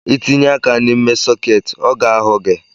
Itinye aka n’ime soketị ọ ga-ahụ gị